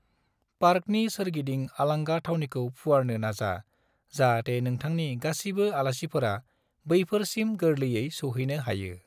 पार्कनि सोरगिदिं आलांगा थावनिखौ फुवारनो नाजा जाहाते नोथांनि गासिबो आलासिफोरा बैफोर सिम गोरलैयै सोवहैनो हायो।